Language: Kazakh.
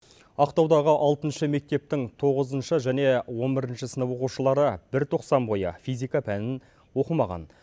ақтаудағы алтыншы мектептің тоғызыншы және он бірінші сынып оқушылары бір тоқсан бойы физика пәнін оқымаған